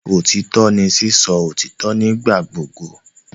Otitọ ni sisọ otitọ nigbagbogbo